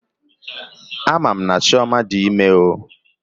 Amam na Chioma di ime o